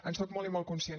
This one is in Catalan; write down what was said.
en soc molt i molt conscient